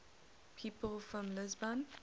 people from lisbon